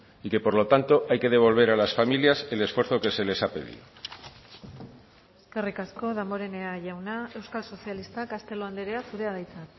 y que por lo tanto hay que devolver a las familias el esfuerzo que se les ha pedido eskerrik asko damborenea jauna euskal sozialistak castelo andrea zurea da hitza